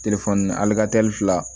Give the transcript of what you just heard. fila